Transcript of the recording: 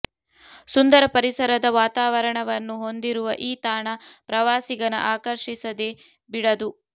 ಸುಂದರ ಪರಿಸರದ ವಾತಾವರಣವನ್ನು ಹೊಂದಿರುವ ಈ ತಾಣ ಪ್ರವಾಸಿಗನ ಆಕರ್ಷಿಸದೆ ಬಿಡದು